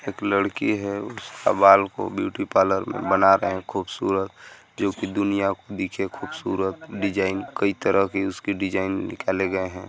एक लड़की है उसका बाल को ब्यूटी पार्लर में बना रहे हैं खूबसूरत जोकि दुनिया को दिखे खूबसूरत डिज़ाइन कई तरह के उसके डिज़ाइन निकाले गए हैं।